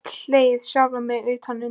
Oft slegið sjálfan mig utan undir.